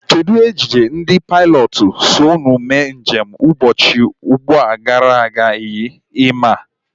Kedụ ejije ndị pailọtụ so ụnu mee njem ụbọchị abụọ gara aga yi? Ị maa?